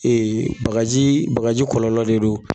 bakaji bakaji kɔlɔlɔ de don